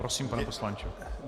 Prosím, pane poslanče.